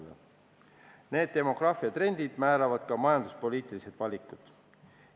Selline demograafiatrend määrab ka majanduspoliitilised valikud.